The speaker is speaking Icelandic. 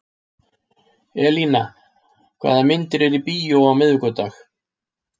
Elína, hvaða myndir eru í bíó á miðvikudaginn?